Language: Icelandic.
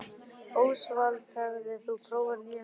Ósvald, hefur þú prófað nýja leikinn?